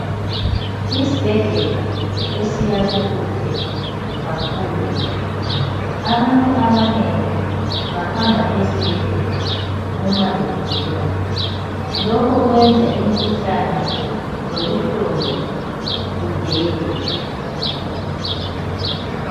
Isibhedlela esiyakhwe kuhle kakhulu abantu abanengi bahamba esibhedlela uma begula. Lokhu kwenza imikhuhlane lobuhlungu kudede.